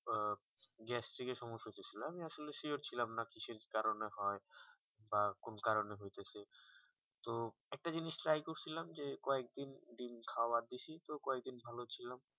গ্যাস্টিক এর সমস্যা হটেছিলো আমি আসলে sure ছিলাম না কিছু কারণে হয় বা কোন কারণে হতেছে তো একটা জিনিস খেয়াল করছিলাম যে কয়েক দিন ডিম্ খোয়া বেশি তো কয়েক দিন বলছিলাম